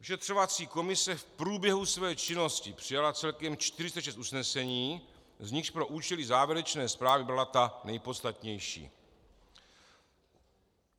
Vyšetřovací komise v průběhu své činnosti přijala celkem 46 usnesení, z nichž pro účely závěrečné zprávy byla ta nejpodstatnější: